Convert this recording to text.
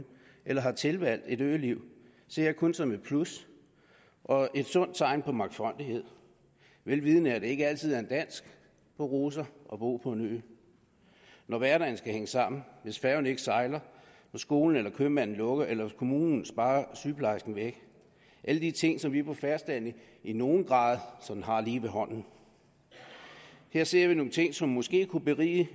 eller har tilvalgt et øliv ser jeg kun som et plus og et sundt tegn på mangfoldighed vel vidende at det ikke altid er en dans på roser at bo på en ø når hverdagen skal hænge sammen hvis færgen ikke sejler når skolen eller købmanden lukker eller kommunen sparer sygeplejersken væk alle de ting som vi på fastlandet i nogen grad har lige ved hånden her ser vi nogle ting som måske kunne berige